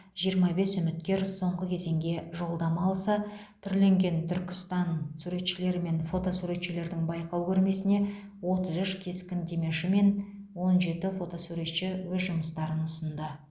жиырма бес үміткер соңғы кезеңге жолдама алса түрленген түркістан суретшілер мен фото суретшілердің байқау көрмесіне отыз үш кескіндемеші мен он жеті фотосуретші өз жұмыстарын ұсынды